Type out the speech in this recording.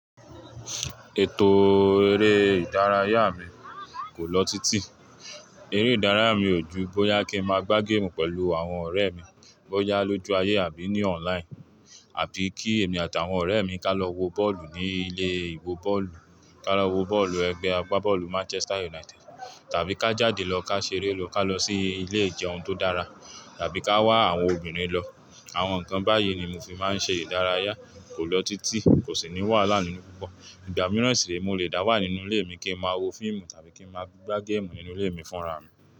Ètò eré ìdárayá mi kò lọ títí. Eré ìdárayá mi ò ju bóyá kí n máa gbá géèmù pẹ̀lú àwọn ọ̀rẹ́ mi bọ́yá lójú ayé àbí ní online, àbí kí èmi àtàwọn ọ̀rẹ́ mi ká lọ wo bọ́ọ̀lù ní ilé ìwé bọ́ọ̀lù, ká lọ wo bọ́ọ̀lù ẹgbẹ́ agbá bọ́ọ̀lù Manchester United, tàbí ká jáde lọ ká ṣeré lọ, ká lọ sí ilé ìjẹun tó dára, tàbí ká wá àwọn obìnrin lọ. Àwọn nǹkan báyìí ni mo fi máa ń ṣe ìdárayá kò lọ títí, kò sì ní wàhálà nínú gbogbo. Ìgbà mìíràn sì rí, mo lè dá wà nínú ilé mi kí n máa wo fíìmù tàbí kí n máa gbá géèmù nínú ilé mi fúnra mi.